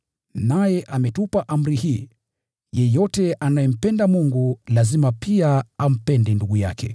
Naye ametupa amri hii: Yeyote anayempenda Mungu lazima pia ampende ndugu yake.